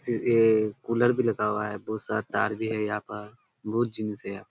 जैसे ये कूलर भी लगा हुआ है। बहुत सारा तार भी है यहाँ पर बहुत जीन्स है यहाँ।